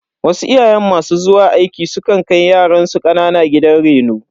Wasu iyaye masu zuwa aiki su kan kai yaransu kanana gidan reno.